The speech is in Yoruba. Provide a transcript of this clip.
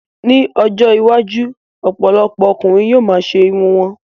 Ní ọjọ́ iwájú, ọ̀pọ̀lọpọ̀ ọkùnrin yóò ma ṣe irun wọn